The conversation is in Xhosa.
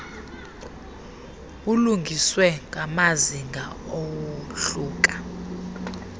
bulungiswe ngamazinga awohluka